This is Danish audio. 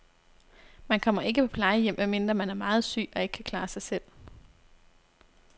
Man kommer ikke på plejehjem, medmindre man er meget syg og ikke kan klare sig selv.